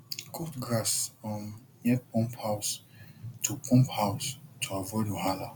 cut grass um near pump house to pump house to avoid wahala